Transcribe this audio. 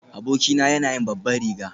Abokina yana yin babban riga.